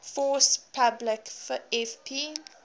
force publique fp